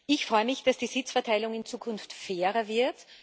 Ich freue mich, dass die Sitzverteilung in Zukunft fairer wird.